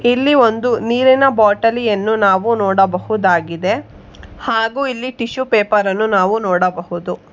ಇಲ್ಲಿ ಒಂದು ನೀರಿನ ಬಾಟಲಿಯನ್ನು ನಾವು ನೋಡಬಹುದಾಗಿದೆ ಹಾಗೂ ಇಲ್ಲಿ ಟಿಶ್ಯೂ ಪೇಪರನ್ನು ನಾವು ನೋಡಬಹುದು.